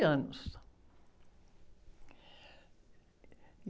anos.